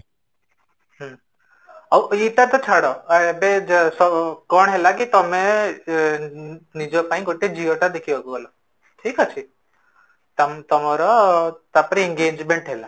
ହୁଁ ଆଉ ଏଟା ତ ଛାଡ଼ ଏବେ କଣ ହେଲା କି ତମେ ନିଜ ପାଇଁ ଗୋଟେ ଝିଅଟା ଦେଖିବାକୁ ଗଲ ଠିକ ଅଛି, ତମ ତମର ତାପରେ engagement ହେଲା